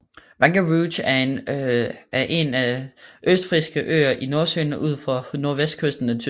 Wangerooge er en af Østfrisiske Øer i Nordsøen ud for nordvestkysten af Tyskland